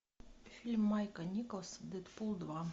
фильм майка николса дэдпул два